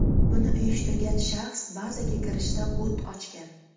Buni uyushtirgan shaxs bazaga kirishda o‘t ochgan.